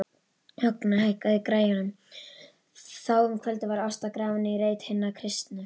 Högna, hækkaðu í græjunum.